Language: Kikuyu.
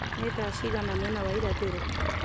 nĩ thaa cigana mwena wa irathĩro